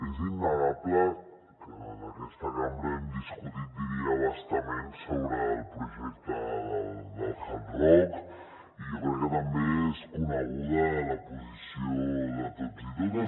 és innegable que en aquesta cambra hem discutit diria a bastament sobre el projecte del hard rock i jo crec que també és coneguda la posició de tots i totes